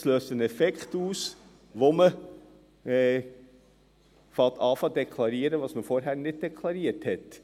Es löst den Effekt aus, dass man anfängt zu deklarieren, was man vorher nicht deklariert hat.